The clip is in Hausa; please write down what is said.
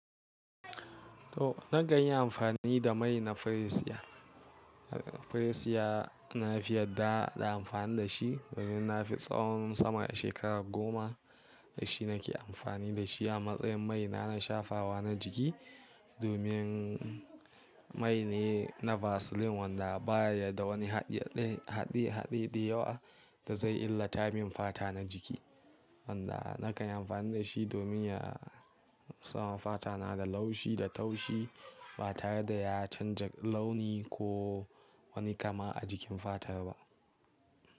To nakanyi amfani da mai na Freesia. Freesia na fi yarda da amfani da shi domin na fi tsawon sama shekara goma da shi nake amfani da shi a matsayin mai na shafawa na jiki. Domin mai ne na Vaseline wanda baya da wani haɗe haɗe haɗe da yawa da zai illata min fata na jiki. Wanda na kan yi amfani da shi domin ya sawa fata na da laushi da taushi ba tare da ya canja launi ko wani kama a jikin fata ba.